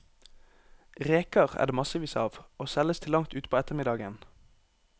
Reker er det massevis av, og selges til langt utpå ettermiddagen.